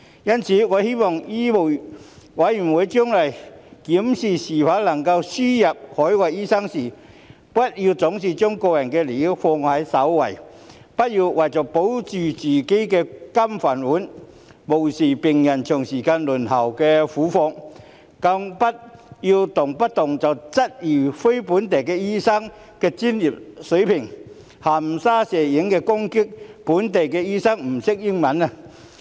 因此，我希望醫委會將來檢視是否輸入海外醫生時，不要總是將個人利益放在首位，不要為了保着自己的"金飯碗"，便無視病人長時間輪候的苦況，更不要動輒質疑非本地培訓醫生的專業水平、含沙射影地攻擊非本地培訓醫生不懂英語。